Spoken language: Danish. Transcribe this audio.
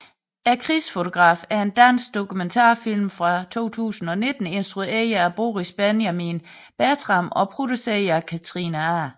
Krigsfotografen er en dansk dokumentarfilm fra 2019 instrueret af Boris Benjamin Bertram og produceret af Katrine A